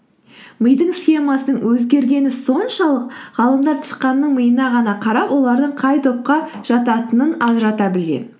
мидың схемасының өзгергені соншалық ғалымдар тышқанның миына ғана қарап олардың қай топқа жататынын ажырата білген